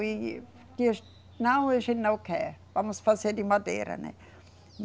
E. Não, a gente não quer, vamos fazer de madeira, né.